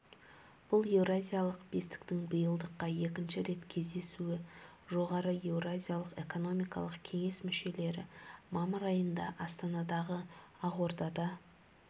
бұл еуразиялық бестіктің биылдыққа екінші рет кездесуі жоғары еуразиялық экономикалық кеңес мүшелері мамыр айында астанадағы ақордада